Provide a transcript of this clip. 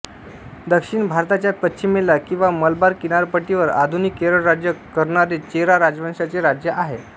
दक्षिण भारताच्या पश्चिमेला किंवा मलबार किनारपट्टीवर आधुनिक केरळ राज्य करणारे चेरा राजवंशाचे राज्य आहे